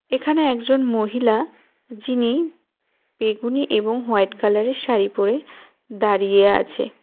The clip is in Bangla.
এখানে একজন মহিলা যিনি বেগুনী এবং হোয়াইট কালারের শাড়ি পরে দাঁড়িয়ে আছে।